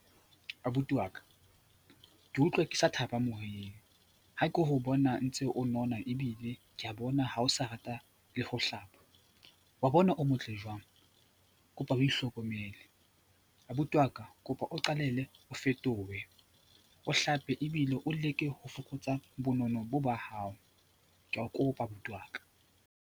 Abuti wa ka, ke utlwa ke sa thaba moyeng ha ke o bona ntse o nona ebile ke a bona ha o sa rata le ho hlapa. Wa bona o motle jwang? Kopa o ihlokomele. Abuti wa ka, kopa o qalelle o fetohe, o hlape ebile o leke ho fokotsa bonono bo ba hao. Ka o kopa abuti wa ka.